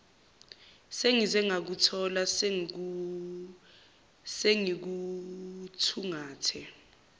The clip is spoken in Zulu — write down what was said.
sengize ngakuthola sengikuthungathe